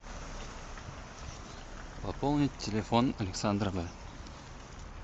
пополнить телефон александра в